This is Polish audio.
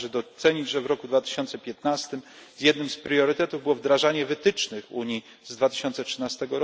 Należy docenić, że w roku 2015 jednym z priorytetów było wdrażanie wytycznych Unii z 2013